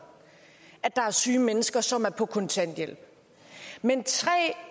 at der er syge mennesker som er på kontanthjælp men tre